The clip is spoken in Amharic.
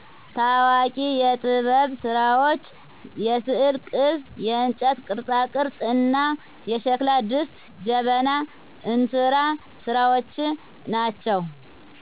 ታዋቂ የጥበብስራዎች የስዕል ቅብ :የእንጨት ቅርፃቅርፅ: እና የሸክላ ድስት: ጀበና :እንስራ ስራዎች ናቸው